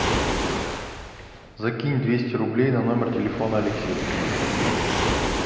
закинь двести рублей на номер телефона алексея